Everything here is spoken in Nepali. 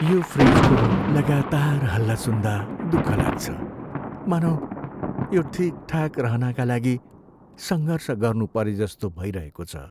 यो फ्रिजको लगातार हल्ला सुन्दा दुख लाग्छ, मानौँ यो ठिकठाक रहनाका लागि सङ्घर्ष गर्नु परेजस्तो भइरहेको छ।